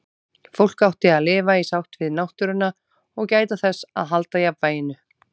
Fólk átti að lifa í sátt við náttúruna og gæta þess að halda jafnvæginu.